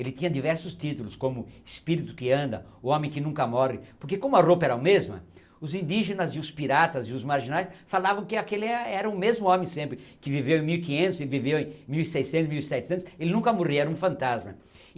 Ele tinha diversos títulos, como espírito que anda, homem que nunca morre, porque como a roupa era a mesma, os indígenas e os piratas e os marginais falavam que aquele era era o mesmo homem sempre, que viveu em mil e quinhetos, que viveu em mil seiscentos, mil e setecentos, ele nunca morria, era um fantasma.